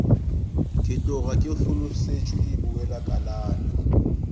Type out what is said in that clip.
ke tloga ke hlolosetšwe bowelakalana